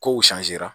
Kow